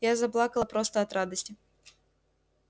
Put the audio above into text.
я заплакала просто от радости